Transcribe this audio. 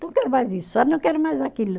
Não quero mais isso ó, não quero mais aquilo.